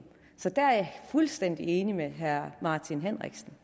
så der er jeg fuldstændig enig med herre martin henriksen